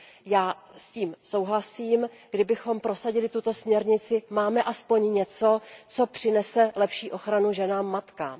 Já s tím souhlasím, kdybychom prosadili tuto směrnici, máme aspoň něco, co přinese lepší ochranu ženám matkám.